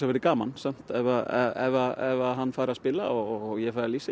verði gaman samt ef hann fær að spila og ég fæ að lýsa